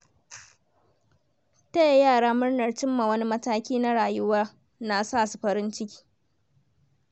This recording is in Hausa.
Taya yara murnar cimma wani mataki na rayuwa na sasu farin ciki.